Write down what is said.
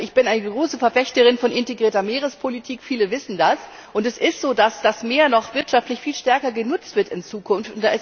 Ich bin eine große Verfechterin von integrierter Meerespolitik viele wissen das und es ist so, dass das Meer wirtschaftlich noch viel stärker genutzt wird in Zukunft.